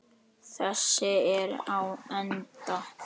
Þessi er á enda.